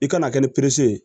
I kana kɛ ni perese ye